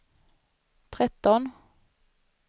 tretton